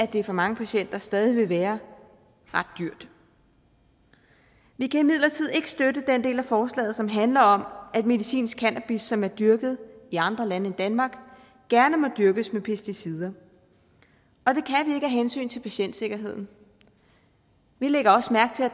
det for mange patienter stadig vil være ret dyrt vi kan imidlertid ikke støtte den del af forslaget som handler om at medicinsk cannabis som er dyrket i andre lande end danmark gerne må dyrkes med pesticider og hensyn til patientsikkerheden vi lægger også mærke til at